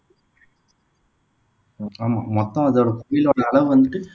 ஆமா மொத்தம் அதோட அளவு வந்துட்டு